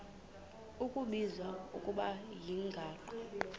kubizwa ngokuba yimigaqo